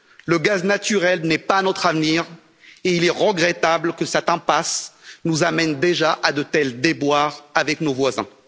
Le gaz naturel n'est pas notre avenir et il est regrettable que cette impasse nous amène déjà à de tels déboires avec nos voisins.